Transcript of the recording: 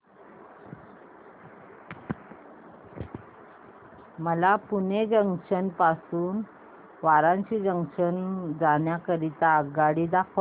मला पुणे जंक्शन पासून वाराणसी जंक्शन जाण्या करीता आगगाडी दाखवा